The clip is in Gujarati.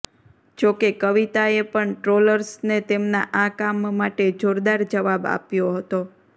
જોકે કવિતાએ પણ ટ્રોલર્સને તેમના આ કામ માટે જોરદાર જવાબ આપ્યો હતો